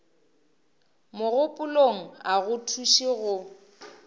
mogopolong a go thuše go